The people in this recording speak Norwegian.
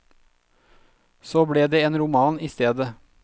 Så det ble en roman i stedet.